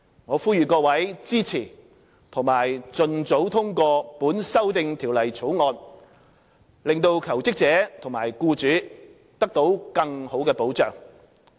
我呼籲各位支持及盡早通過《條例草案》，令求職者及僱主得到更好的保障。